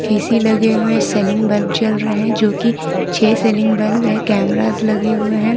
AC लगे है ceiling bulb जल रहे जो की छे सीलिंग बल्ब है कैमराज लगे हुए हैं।